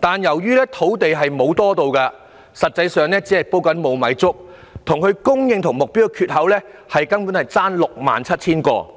但由於土地沒有增加，實際上只是在"煲無米粥"，供應量與目標的缺口相差 67,000 個單位。